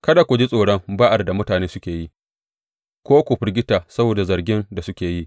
Kada ku ji tsoron ba’ar da mutane suke yi ko ku firgita saboda zargin da suke yi.